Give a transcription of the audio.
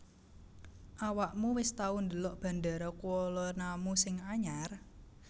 Awakmu wis tau ndelok Bandara Kuala Namu sing anyar?